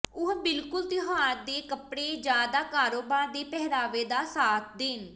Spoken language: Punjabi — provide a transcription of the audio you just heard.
ਉਹ ਬਿਲਕੁਲ ਤਿਉਹਾਰ ਦੇ ਕੱਪੜੇ ਜ ਦਾ ਕਾਰੋਬਾਰ ਦੇ ਪਹਿਰਾਵੇ ਦਾ ਸਾਥ ਦੇਣ